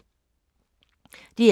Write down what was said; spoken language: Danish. DR K